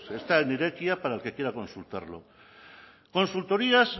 está en irekia para el que quiera consultarlo consultorías